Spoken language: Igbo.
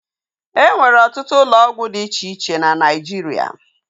E nwere ọtụtụ ụlọ ọgwụ dị iche iche na Naijiria